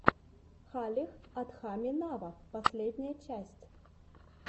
халех адхами нава последняя часть